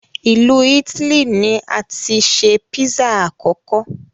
Ilu Itili ni ati se Pizza akọkọ